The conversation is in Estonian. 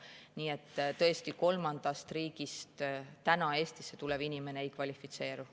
Nii et tõesti, kolmandast riigist Eestisse tulev inimene ei kvalifitseeru.